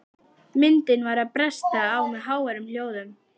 Myndin var að bresta á með háværum hljóðum.